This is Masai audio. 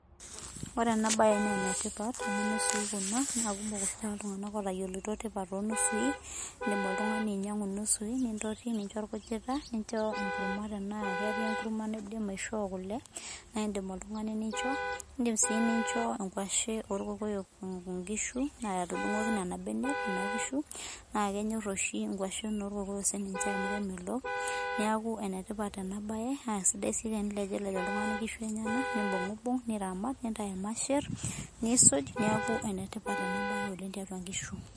Ore enabae nenetipat, amu nusui kuna, na kumok oshi taata iltung'anak otayioloito tipat onusui, idim oltung'ani ainyang'u nusui nintoti nincho orkujita, nincho enkurma tenaa ketii enkurma nidim aishoo kule, na idim oltung'ani nincho. Idim si nincho inkwashen orkokoyo nkishu, atudung'oki nena benek kuna kishu, na kenyor oshi nkwashen orkokoyo sininche amu kemelok. Neeku enetipat enabae, na sidai si tenilejilej oltung'ani nkishu enyanak, nibung'ubung', niramat nintayu irmasher, nisuj neeku enetipat enabae oleng tiatua nkishu.